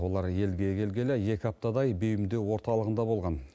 олар елге келгелі екі аптадай бейімдеу орталығында болған